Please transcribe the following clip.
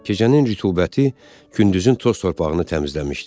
Gecənin rütubəti gündüzün toz-torpağını təmizləmişdi.